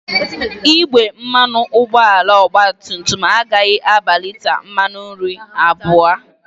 Igbe mmanụ ụgbọala ọgbatumtum agaghị aba lita mmanụ iri abụọ